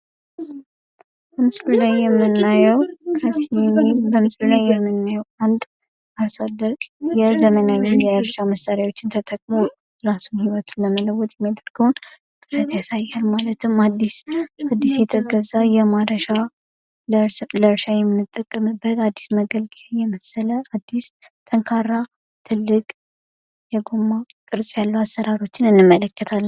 በምስሉ ላይ የምናየዉ አንድ አርሶ አደር የዘመናዊ የእርሻ መሳሪያዎችን ተጠቅሞ እራሱን ህይወቱን ለመለወጥ የሚያደርገዉን ጥረት ያሳያል ማለትም አዲስ የተገዛ የማረሻ ለእርሻ የምንጠቀምበት አዲስ መገልገያ የመሰለ አዲስ ፣ ጠንካራ፣ ትልቅ የጎማ ቅርፅ ያለዉ አሰራሮችን እንመለከታለን።